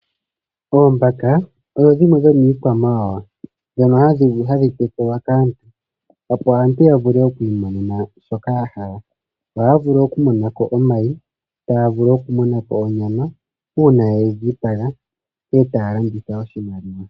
Oombaka odho dhimwe dho miikwamawawa dhono hadhi tekulwa kaantu opo aantu yavule okwiimonena shoka yahala. Ohaa vulu oku monako omayi, taa vulu oku monako onyama uuna yedhi dhipaga etaa landitha ya mone oshimaliwa.